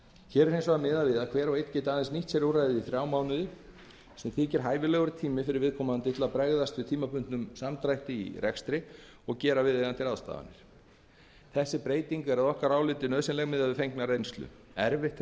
hér er hins vegar miðað við að hver og einn geti aðeins nýtt sér úrræðið í þrjá mánuði sem þykir hæfilegur tími fyrir viðkomandi til að bregðast við tímabundnum samdrætti í rekstri og gera viðeigandi ráðstafanir þessi breyting er nauðsynleg miðað við fengna reynslu erfitt hefur reynst